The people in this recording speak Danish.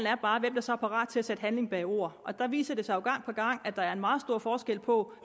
er bare hvem der så er parat til at sætte handling bag ordene og der viser det sig jo gang på gang at der er meget stor forskel på